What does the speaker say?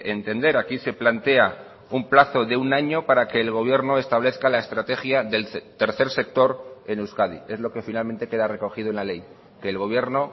entender aquí se plantea un plazo de un año para que el gobierno establezca la estrategia del tercer sector en euskadi es lo que finalmente queda recogido en la ley que el gobierno